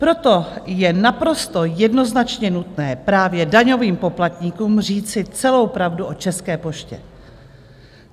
Proto je naprosto jednoznačně nutné právě daňovým poplatníkům říci celou pravdu o České poště.